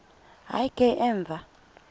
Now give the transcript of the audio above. hayi ke emva